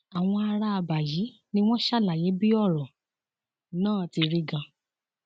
àwọn ará àbá yìí ni wọn ṣàlàyé bí ọrọ náà ti rí ganan